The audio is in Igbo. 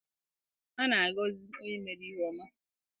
A na-agọzi onye mere ihe ọma.